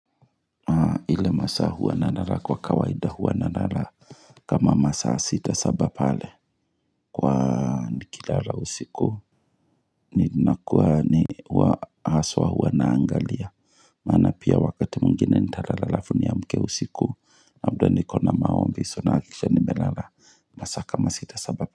Ile masaa huwa nalala kwa kawaida huwa nalala h kama masa sita saba pale Kwaa nikilara usiku ni nakua ni wahaswa huwa naangalia Maana pia wakati mwingine nitalala alafu niamke usiku labda niko na maombi So nakikisha nimelala masa kama sita saba pa.